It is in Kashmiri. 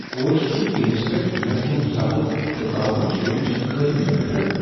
کوچ سند ٹیمس پیٹھ نظم و ضبط تہٕ قابوٗوچ کمی چھ قابل نفرت۔